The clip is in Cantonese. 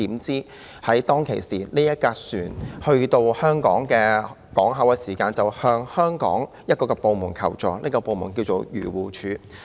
怎料船隻來到香港港口，船員就向香港的一個部門求助，這就是漁護署。